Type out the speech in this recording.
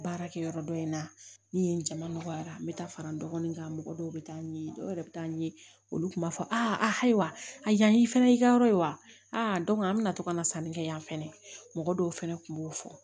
Baarakɛ yɔrɔ dɔ in na ni yen jama nɔgɔyara n bɛ taa fara n dɔgɔnin kan mɔgɔ dɔw bɛ taa ɲɛɲini dɔw yɛrɛ bɛ taa n ye olu tun b'a fɔ ayiwa a yani i fana y'i ka yɔrɔ ye wa a an bɛ na to ka na sanni kɛ yan fɛnɛ mɔgɔ dɔw fɛnɛ kun b'o fɔ